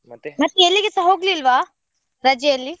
ಎಲ್ಲಿಗೆಸ ಹೋಗ್ಲಿಲ್ವಾ, ರಜೆ ಅಲ್ಲಿ?